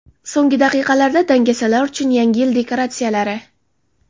So‘nggi daqiqalarda: dangasalar uchun Yangi yil dekoratsiyalari .